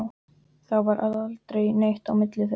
Það varð aldrei neitt á milli þeirra.